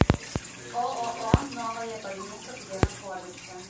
ооо новая больница где находится